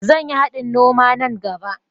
Zan yi haɗin noma nan gaɓa.